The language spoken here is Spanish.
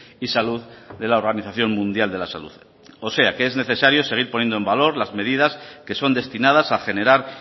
y salud de la organización mundial de la salud o sea que es necesario seguir poniendo en valor las medidas que son destinadas a generar